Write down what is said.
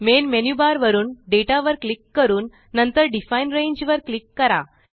main menu bar वरुन data वर click करून नंतर डिफाईन रांगे वर क्लिक करा